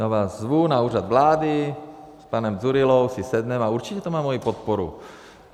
Já vás zvu na Úřad vlády, s panem Dzurillou si sedneme a určitě to má moji podporu.